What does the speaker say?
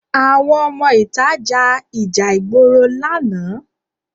Àwọn ọmọ ìta ja ìjà ìgboro lánàá